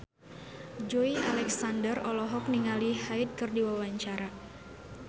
Joey Alexander olohok ningali Hyde keur diwawancara